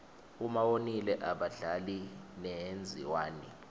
uma wonile abadlali wenziwani